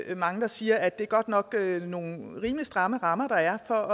er mange der siger at det godt nok er nogle rimelig stramme rammer der er for at